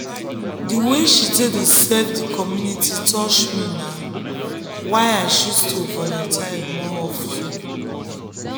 the way she take dey serve the community touch me na why i choose to dey volunteer more of ten.